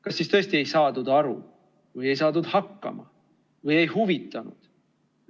Kas siis tõesti ei saadud aru või ei saadud hakkama või ei huvitanud?